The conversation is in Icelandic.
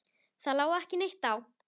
Það lá ekki neitt á.